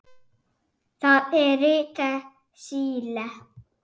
Það er ritað Síle.